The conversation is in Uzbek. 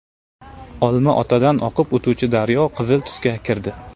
Olmaotadan oqib o‘tuvchi daryo qizil tusga kirdi .